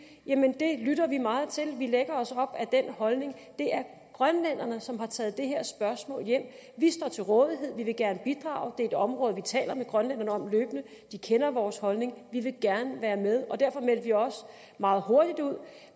jamen det lytter vi meget til vi lægger os op ad den holdning det er grønlænderne som har taget det her spørgsmål hjem vi står til rådighed vi vil gerne bidrage det er et område vi taler med grønlænderne om løbende de kender vores holdning vi vil gerne være med derfor meldte vi også meget hurtigt ud